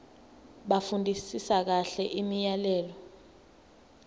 bafundisise kahle imiyalelo